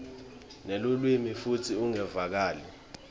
nelulwimi futsi ungevakali